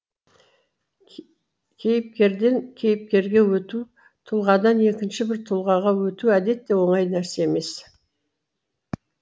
кейіпкерден кейіпкерге өту тұлғадан екінші бір тұлғаға өту әдетте оңай нәрсе емес